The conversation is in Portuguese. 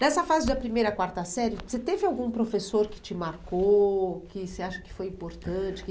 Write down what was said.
Nessa fase da primeira à quarta série, você teve algum professor que te marcou, que você acha que foi importante? Que